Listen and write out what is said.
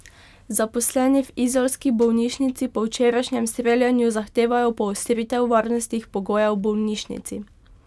Zaposleni v izolski bolnišnici po včerajšnjem streljanju zahtevajo poostritev varnostnih pogojev v bolnišnici.